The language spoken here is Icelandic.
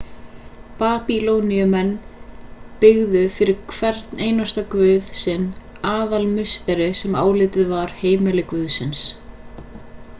babýloníumenn byggðu fyrir hvern guð sinn aðalmusteri sem álitið var heimili guðsins